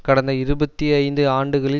கடந்த இருபத்தி ஐந்து ஆண்டுகளில்